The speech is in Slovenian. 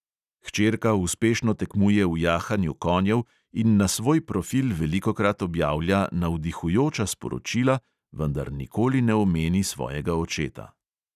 Hčerka uspešno tekmuje v jahanju konjev in na svoj profil velikokrat objavlja navdihujoča sporočila, vendar nikoli ne omeni svojega očeta.